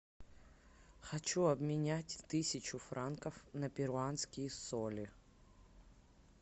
хочу обменять тысячу франков на перуанские соли